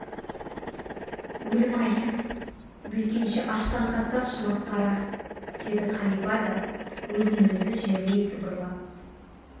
өлім-ай бүйткенше аштан қатсақшы масқара деді қалипа да өзін-өзі жерлей сыбырлап